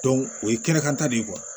o ye kɛnɛkanta de ye